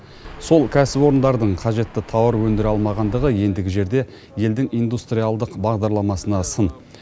сол кәсіпорындардың қажетті тауар өндіре алмағандығы ендігі жерде елдің индустриалдық бағдарламасына сын